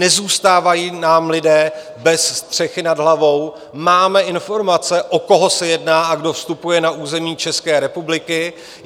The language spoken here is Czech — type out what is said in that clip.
Nezůstávají nám lidé bez střechy nad hlavou, máme informace, o koho se jedná a kdo vstupuje na území České republiky.